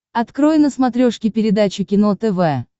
открой на смотрешке передачу кино тв